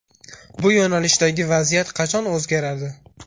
Bu yo‘nalishdagi vaziyat qachon o‘zgaradi?